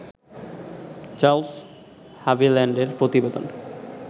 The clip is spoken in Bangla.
চার্লস হাভিল্যান্ডের প্রতিবেদন